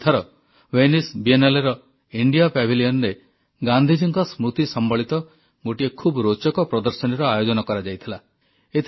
ଏଥର ଭେନାଇସ Biennaleର ଇଣ୍ଡିଆ Pavilionରେ ଗାନ୍ଧୀଜୀଙ୍କ ସ୍ମୃତି ସମ୍ବଳିତ ଗୋଟିଏ ଖୁବ ରୋଚକ ପ୍ରଦର୍ଶନୀର ଆୟୋଜନ କରାଯାଇଥିଲା